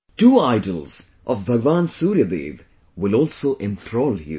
Two idols of Bhagwan Surya Dev will also enthrall you